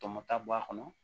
Tɔmɔta bɔ a kɔnɔ